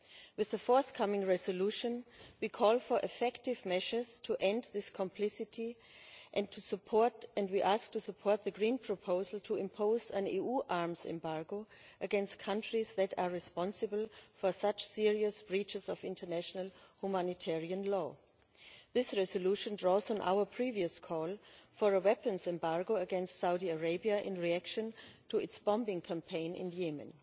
With the forthcoming resolution we call for effective measures to end this complicity and we ask for support for the Green proposal to impose an EU arms embargo against countries that are responsible for such serious breaches of international humanitarian law. This resolution draws on our previous call for a weapons embargo against Saudi Arabia in reaction to its bombing campaign in Yemen.